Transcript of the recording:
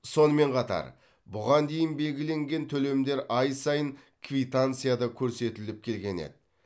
сонымен қатар бұған дейін белгіленген төлемдер ай сайын квитанцияда көрсетіліп келген еді